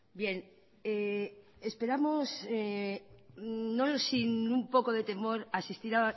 bien esperamos no sin un poco de temor a asistir